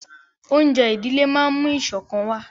Oúnjẹ ìdílé máa ń mú ìṣọ̀kan wà